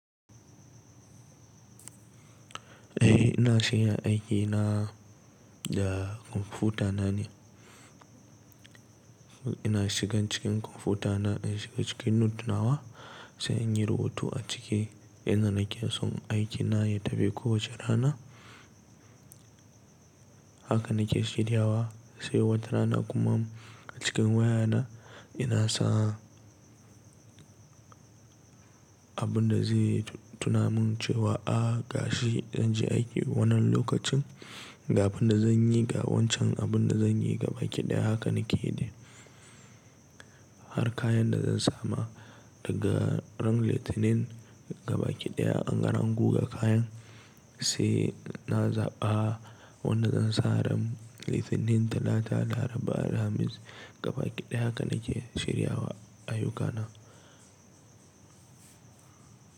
Eh ina shirya aikina da kwamfutana ne. Ina shiga cikin kwamfutana, ina shiga cikin note nawa sai inyi rubutu a ciki. Inda nake so aikina ya tafi kowace rana haka nake shirya wa, sai wata rana kuma a cikin wayana ina sa abinda zai tuna min cewa ga shi zanje aiki wannan lokacin ga abinda zanyi ga wancan abinda zanyi gabaki ɗaya haka nake yi dai. Har kayan da zansa ma daga ran Litinin gabaki ɗaya angama guge kayan, sai na zaɓa wanda zansa ran Litinin, Talata, Laraba, Alhamis gabaki ɗaya haka nake shirya ayyukana.